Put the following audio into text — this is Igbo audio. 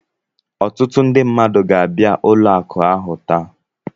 Ọtụtụ ndị mmadụ ga-abịa ụlọ akụ ahụ taa